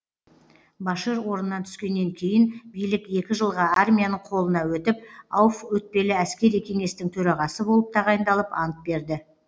башир орнынан түскеннен кейін билік екі жылға армияның қолына өтіп ауф өтпелі әскери кеңестің төрағасы болып тағайындалып ант берді